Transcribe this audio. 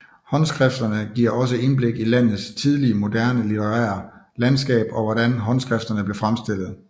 Håndskrifterne giver også indblik i landets tidlige moderne litterære landskab og hvordan håndskrifterne blev fremstillet